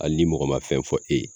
Ali ni mɔgɔ ma fɛn fɔ e ye